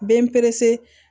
Bɛ n perese